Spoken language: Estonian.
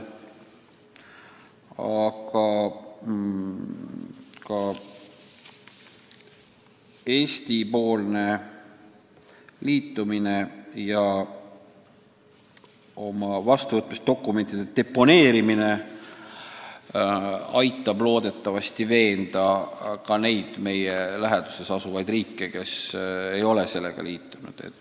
Loodetavasti aitab Eesti osalus ja muudatuste heakskiitmise dokumentide deponeerimine veenda ühinema ka neid meie läheduses asuvaid riike, kes veel ei ole seda teinud.